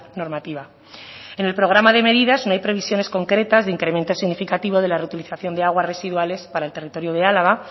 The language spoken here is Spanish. normativa en el programa de medidas no hay previsiones concretas de incremento significativo de la reutilización de aguas residuales para el territorio de álava